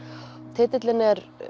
titillinn er